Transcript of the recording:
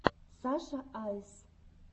саша айс